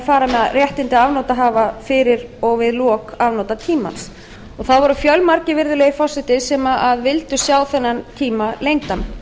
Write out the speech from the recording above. fara eigi með réttindi afnotahafa fyrir og við lok afnotatímans það voru fjölmargir virðulegi forseti sem vildu sjá þennan tíma lengdan